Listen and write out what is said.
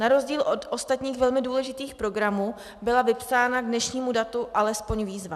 Na rozdíl od ostatních velmi důležitých programů byla vypsána k dnešnímu datu alespoň výzva.